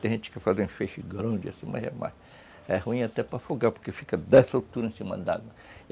Tem gente que faz um feixe grande, assim, mas é mais... É ruim até para afogar, porque fica dessa altura em cima da água.